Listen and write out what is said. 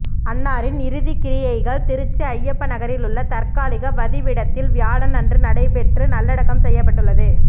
அன்னாரின் இறுதிக்கிரியைகள் திருச்சி ஐய்யப்ப நகரில் உள்ள தற்காலிக வதிவிடத்தில் வியாழன் அன்று நடைபெற்று நல்லடக்கம் செய்யப்பட்டுள்ளது